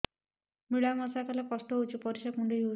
ମିଳା ମିଶା କଲେ କଷ୍ଟ ହେଉଚି ପରିସ୍ରା କୁଣ୍ଡେଇ ହଉଚି